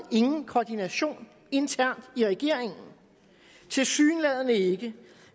ingen koordination internt i regeringen tilsyneladende ikke